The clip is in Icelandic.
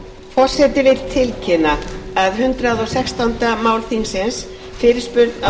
forseti vill tilkynna að hundrað og sextándu mál þingsins fyrirspurn á